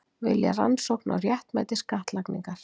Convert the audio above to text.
Vilja rannsókn á réttmæti skattlagningar